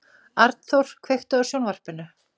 Arnþór, kveiktu á sjónvarpinu.